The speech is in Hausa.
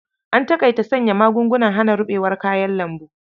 An taƙaita sanya magugnan hana rubewar kayan lambu.